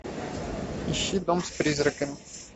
ищи дом с призраками